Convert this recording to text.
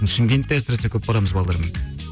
шымкентте әсіресе көп барамыз балдармен